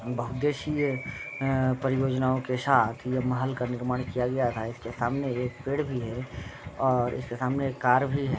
बहु दिसेया अ परियोजना के साथ ये महल का निर्माण किया गया था इसके सामने एक पेड़ भी है और इसके सामने एक कार भी है।